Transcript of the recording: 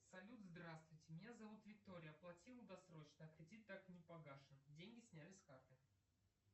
салют здравствуйте меня зовут виктория оплатила досрочно а кредит так и не погашен деньги сняли с карты